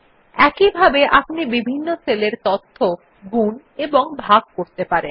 একইভাবে আপনি বিভিন্ন সেলের তথ্য গুন এবং ভাগ করতে পারেন